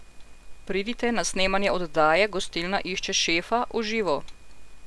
Pridite na snemanje oddaje Gostilna išče šefa v živo!